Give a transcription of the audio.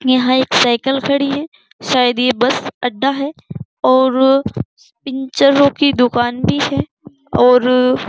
यहाँ एक साईकल खड़ी है। सायद ये बस अड्डा है और पिनचरों की दुकान भी है और --